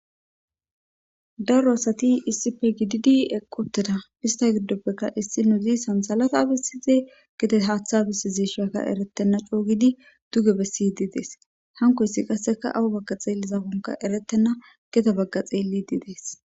Daro asati issipe gididi equtida ista gidopeka issinozi sansalata besize gede haatha besizesha eretena coo gidi duge besidi de'es hankoysi kaseka awu xeelizakon eretena gede baga xeelidi de'es.